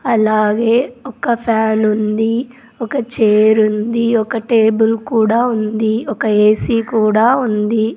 అలాగే ఒక ఫ్యానుంది ఒక చేరుంది ఒక టేబుల్ కూడా ఉంది ఒక ఏసీ కూడా ఉంది.